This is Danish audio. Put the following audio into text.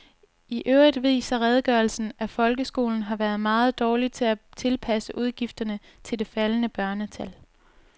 I øvrigt viser redegørelsen, at folkeskolen har været meget dårlig til at tilpasse udgifterne til det faldende børnetal.